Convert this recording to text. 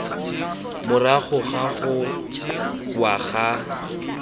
morago ga go wa ga